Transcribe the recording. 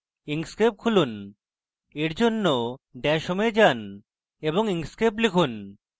inkscape খুলুন এর জন্য dash home এ যান এবং inkscape লিখুন